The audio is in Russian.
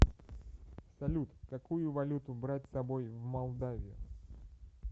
салют какую валюту брать с собой в молдавию